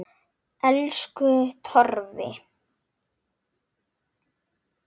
Elsku Torfi.